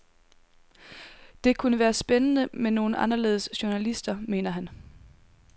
Det kunne være spændende med nogle anderledes journalister, mener han.